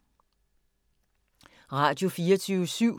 Radio24syv